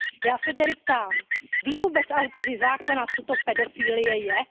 Já se tedy ptám, ví vůbec autoři zákona, co to pedofilie je?